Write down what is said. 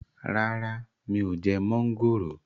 Rárá mi ò jẹ mọ́ńgòrò